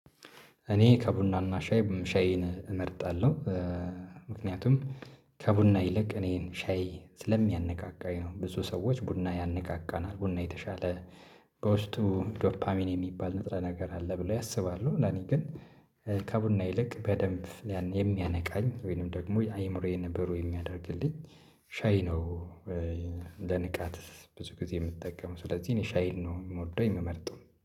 እኔ ከቡናና ሻይ ሻይን እመርጣለሁ። ምክንያቱም ከቡና ይልቅ እኔን ሻይ ስለሚያነቃቃኝ ነው። ብዙ ሰዎች ቡና ያነቃቃናል ቡና የተሻለ። በውስጡ ዶፓሚን የሚባል ንጥረ ነገር አለ ብለው ያስባሉ ለኔ ግን። ከቡና ይልቅ በደንብ የሚያነቃኝ ወይንም ደግሞ አይምሮዬን ብሩህ የሚያደርግልኝ ሻይ ነው። ለንቃት ብዙ ጊዜ የምጠቀመው ስለዚህ እኔ ሻይን ነው የምወደው የምመርጠው